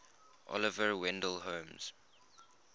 oliver wendell holmes